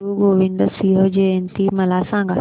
गुरु गोविंद सिंग जयंती मला सांगा